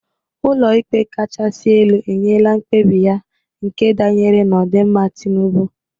Ụlọ ikpe kachasi elu enyela mkpebi ya nke danyere n'odịmma Tinubụ.